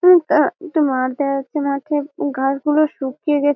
উ টা একটা মাঠ দেখা যাচ্ছে। মাঠের ঘাসগুলো শুকিয়ে গে--